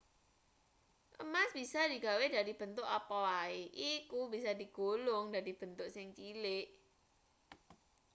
emas bisa digawe dadi bentuk apa wae iku bisa digulung dadi bentuk sing cilik